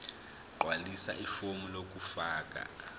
gqwalisa ifomu lokufaka